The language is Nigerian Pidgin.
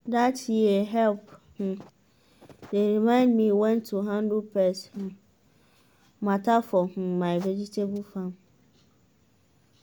that yeh help um dey remind me when to handle pest um matter for um my vegetable farm.